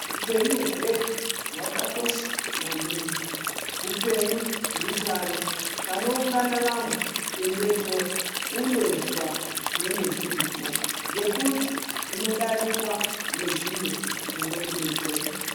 Upenyu hwedu hwakakosha maningi hupenyu hutano panoungana vamwe endepo undozwa zvinenge zviripo ngekuti unodarikwa ngezviro zvinokudetsera.